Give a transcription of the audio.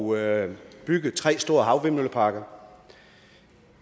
ud at bygge tre store havvindmølleparker